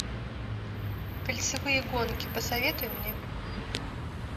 кольцевые гонки посоветуй мне